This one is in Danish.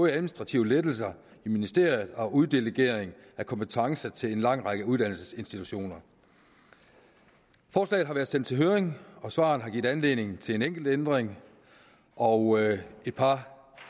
administrative lettelser i ministeriet og uddelegering af kompetencer til en lang række uddannelsesinstitutioner forslaget har været sendt i høring og svarene herfra har givet anledning til en enkelt ændring og et par